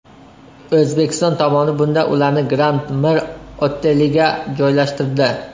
O‘zbekiston tomoni bunda ularni Grand Mir oteliga joylashtirdi.